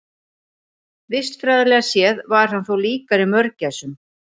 Vistfræðilega séð var hann þó líkari mörgæsum.